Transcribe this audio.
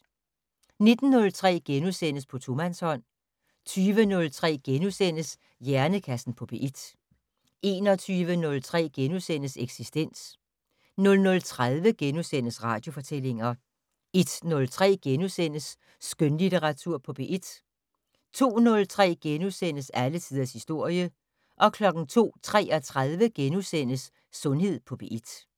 19:03: På tomandshånd * 20:03: Hjernekassen på P1 * 21:03: Eksistens * 00:30: Radiofortællinger * 01:03: Skønlitteratur på P1 * 02:03: Alle tiders historie * 02:33: Sundhed på P1 *